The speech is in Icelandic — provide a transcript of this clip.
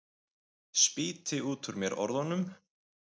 Spýti út úr mér orðunum.